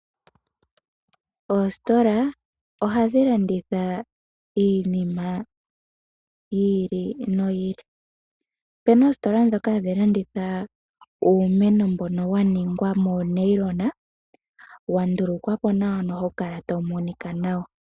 Oositola ohadhi landitha iinima yi ili no yi ili. Opuna oositola ndhoka hadhi landitha uumeno mbono wa ningwa moonayilona wandulukwa po nawa na ohawu kala tawu minika nawa.